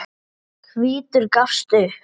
Hvítur gafst upp.